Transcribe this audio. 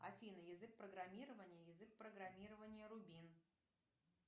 афина язык программирования язык программирования рубин